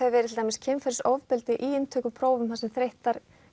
kynferðisofbeldi í inntökuprófum þar sem þreyttar